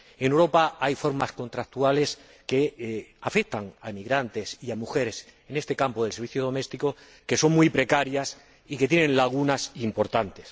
En Europa hay formas contractuales, que afectan a emigrantes y a mujeres en este campo del servicio doméstico, que son muy precarias y tienen lagunas importantes.